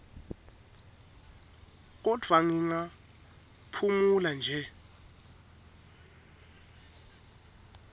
kodvwa ngingaphumula nje